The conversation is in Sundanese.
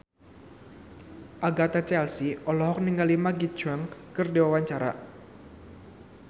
Agatha Chelsea olohok ningali Maggie Cheung keur diwawancara